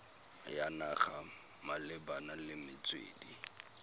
ya naga malebana le metswedi